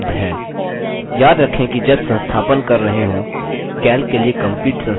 याद रखें कि जब संस्थापन कर रहे हों calc के लिए complete संस्थापन का उपयोग करें